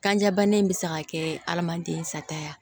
Kanjabana in bɛ se ka kɛ adamaden sata ye